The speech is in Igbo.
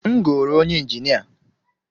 M goro onye injinia.